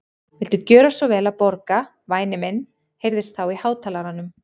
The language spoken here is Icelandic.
Viltu gjöra svo vel að borga, væni minn heyrðist þá í hátalaranum.